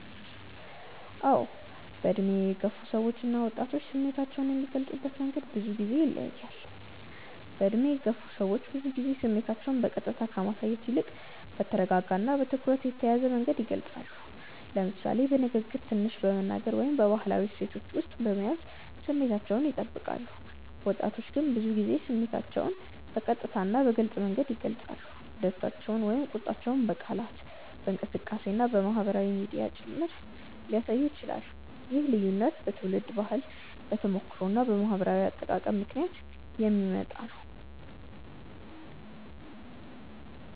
አዎ፣ በዕድሜ የገፉ ሰዎች እና ወጣቶች ስሜታቸውን የሚገልጹበት መንገድ ብዙ ጊዜ ይለያያል። በዕድሜ የገፉ ሰዎች ብዙ ጊዜ ስሜታቸውን በቀጥታ ከማሳየት ይልቅ በተረጋጋ እና በትኩረት የተያዘ መንገድ ይገልጻሉ፤ ለምሳሌ በንግግር ትንሽ በመናገር ወይም በባህላዊ እሴቶች ውስጥ በመያዝ ስሜታቸውን ይጠብቃሉ። ወጣቶች ግን ብዙ ጊዜ ስሜታቸውን በቀጥታ እና በግልጽ መንገድ ይገልጻሉ፤ ደስታቸውን ወይም ቁጣቸውን በቃላት፣ በእንቅስቃሴ እና በማህበራዊ ሚዲያ ጭምር ሊያሳዩ ይችላሉ። ይህ ልዩነት በትውልድ ባህል፣ በተሞክሮ እና በማህበራዊ አጠቃቀም ምክንያት የሚመጣ ነው።